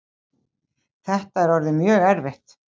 Þetta er orðið mjög erfitt